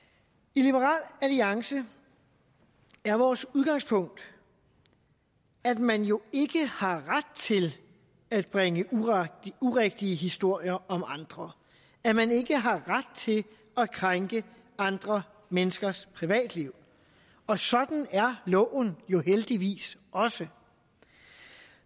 i liberal alliance er vores udgangspunkt at man jo ikke har ret til at bringe urigtige historier om andre at man ikke har ret til at krænke andre menneskers privatliv og sådan er loven jo heldigvis også